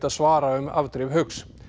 svara um afdrif Hauks